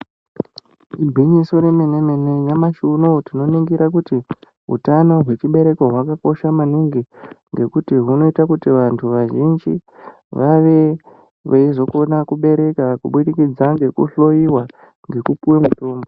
Igwinyiso remene mene nyamashi unou tinoningira kuti utano hwechibereko hwakakosha maningi ngekuti hunoita kuti vantu vazhinji vave veizokona kubereka kubudikidza ngekuhloyiwa ngekupiwa mutombo.